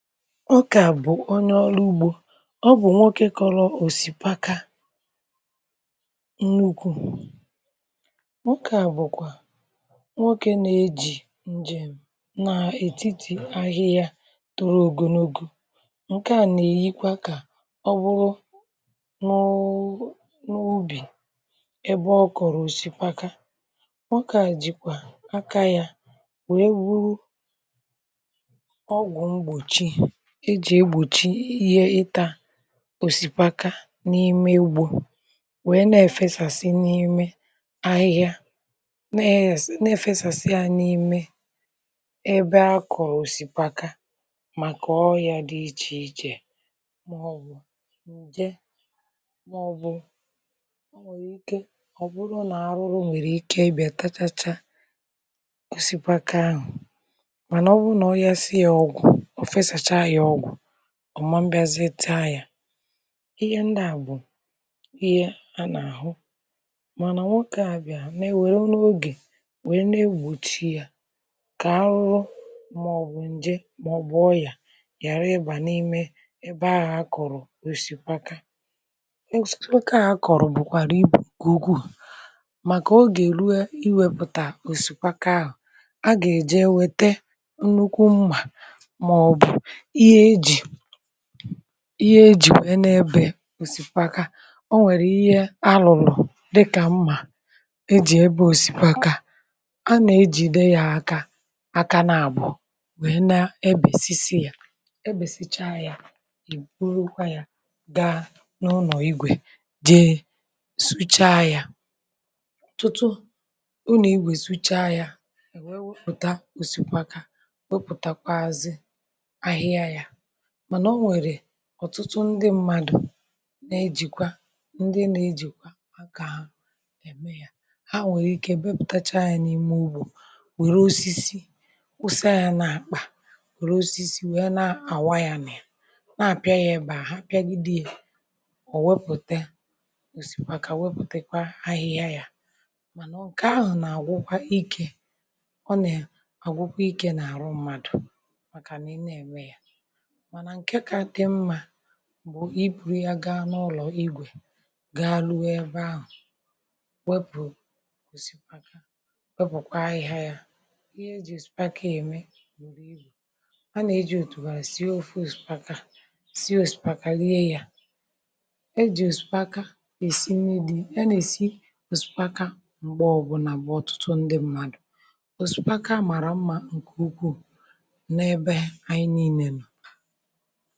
Ọkà bụ̀ onye ọrụ̇ ugbȯ ọ bụ̀ nwokė kọrọ̇ òsìpaka nnukwu̇, ọkà bụ̀kwà nwokė na-eji̇ njem na etiti ahịhịa tụrụ ogonogo, ǹkè a nà-èyikwa kà ọ bụrụ nụụ n’ubì ebe ọ kọ̀rọ̀ òsìpaka, nwokė jìkwà aka yȧ wee wuru ogwu gbochi ejì egbòchi ihe ịtȧ osikpaka n’ime ugbȯ wee nọ̀ efesàsị n’ime ahịhịa neė na-efesàsị a n’ime ebe akọ̀ osikpaka màkà ọria ya dị ichè ichè. Mà ọbụ̀ ǹje màọbụ̀ ọ nwèrè ike ọ̀ bụrụ nà arụrụ nwèrè ike ịbịȧ tachacha osikpaka ahụ̀, mànà ọ bụrụ nà ọrịasịa ọgụ̀, ọ̀ efesàsị ọgụ̀, ọma mbịazeta ya. Ihe ndị a bụ ihe a na-ahụ, mana nwokė a bịa na-ewere n’oge wee na-egbochi ya ka arụrụ maọbụ nje maọbụ ọya ghara ịba n’ime ebe ahụ akọrọ osikpaka. a akọrọ bụkwara ibù nke ukwuu maka oge iwepụta osikwaka ahụ a ga-eje enweta nnukwu mma ma o bu ihe ejì ihe ejì nwère n’ebė osìkwaka ọ nwèrè ihe alụlụ dịkà mmà e jì ebe osìkwaka, a nà-ejìde ya aka aka na-àbụ̀ọ wèe na-ebèsisi ya ebèsichaa ya ìburuokwa ya ga n’ụnọ̀ igwè jee sụcha ya, tụtụ ụnọ̀ igwè sụcha ya e wee wepụ̀ta osìkpaka wepụ̀takwa azi ahịhịa yȧ, mànà o nwèrè ọ̀tụtụ ndị mmadụ̀ na-ejìkwa ndị nȧ-ejìkwa àkà ahụ̀ ème yȧ, ha nwèrè ike bepụ̀tacha yȧ n’ime ugbù wère osisi wusa yȧ n’àkpà wère osisi wèe na-àwa yȧ nà na-àpịa ya ebe àha, ha pịagịdị yȧ ò wepùte òsìkpàkà wepùtèkwa ahịhịa yȧ, mànà nke ahụ̀ nà-àgwụkwa ikė ọ nà ya àgwụkwa ikė n’àrụ mmadụ̀ màkà na na-ème yȧ. Mànà nke ka di nma bụ̀ ibùrù ya gaa n’ụlọ̀ igwè gaa lụye ebe ahụ̀ wepù osìpaka wepùkwa ahịhịa ya. Ihe e jì osìpakȧ ème bụrụ ibu, a nà-ejì òtùgharị̀ sie ofu osìpaka sie òsìpaka rie yȧ, ejì òsìkpàkà èsi nri̇ dị̀ a n’ẹ̀sị osìpaka m̀gbẹ̀ ọ bụ̀la mgbe ọ̀tụtụ ndị mmadù òsìpaka màrà mmȧ ǹkè ukwuù na abe anyi niile no.